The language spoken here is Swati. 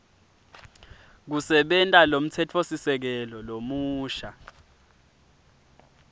kusebenta lomtsetfosisekelo lomusha